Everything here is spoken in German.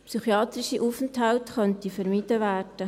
Psychiatrische Aufenthalte könnten vermieden werden.